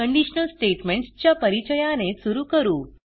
conditional statements च्या परिचयाने सुरू करू